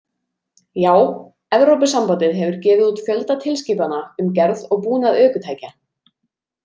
Já, Evrópusambandið hefur gefið út fjölda tilskipana um gerð og búnað ökutækja.